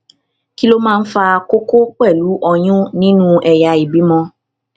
kí ló máa ń fa koko pelu oyun nínú ẹyà ìbímọ